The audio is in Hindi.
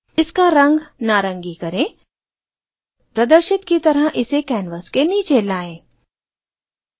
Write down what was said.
इसका रंग नारंगी करें प्रदर्शित की तरह इसे canvas के नीचे लाएं